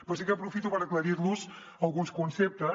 però sí que aprofito per aclarir los alguns conceptes